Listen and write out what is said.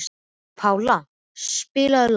Pála, spilaðu lag.